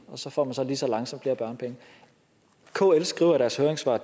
og så får man så lige så langsomt flere børnepenge kl skriver i deres høringssvar